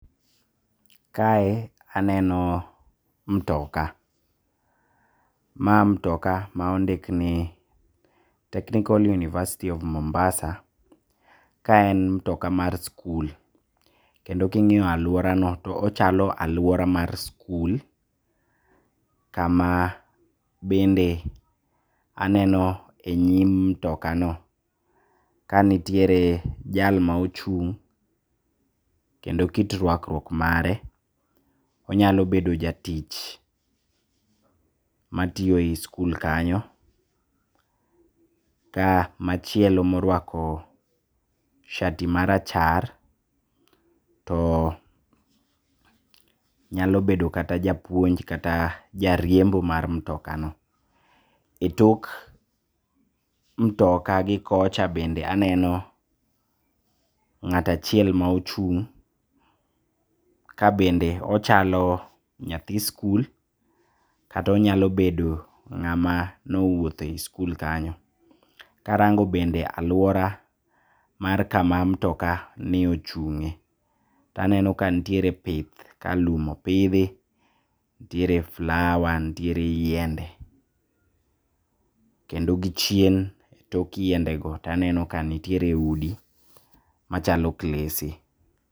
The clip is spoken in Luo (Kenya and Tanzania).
Kae aneno mtoka. Ma mtoka maondikni Technical University of Mombasa kaen mtoka mar skul, kendo king'iyo aluorano to ochalo aluora mar skul, kama bende aneno e nyim mtokano ka nitiere jal maochung' kendo kit rwakruok mare onyalo bedo jatich matiyo e skul kanyo. Ka machielo moruako shati marachar, to nyalo bedo kata japuonj kata jariembo mar mtokano. E tok mtoka gi kocha bende aneno ng'at achiel maochung' kabende ochalo nyathi skul, kata onyalo bedo ng'ama nowuothe e skul kanyo. Karango bende aluora mar kama mtokani ochung'e taneno ka ntiere pith, kalum opidhi ntiere flower ntiere yiende, kendo gi chien tok yiendego taneno ka ntiere udi machalo klese.